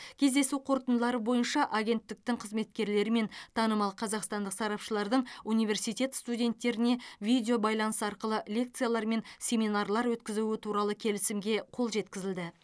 кездесу қорытындылары бойынша агенттіктің қызметкерлері мен танымал қазақстандық сарапшылардың университет студенттеріне видеобайланыс арқылы лекциялар мен семинарлар өткізуі туралы келісімге қол жеткізілді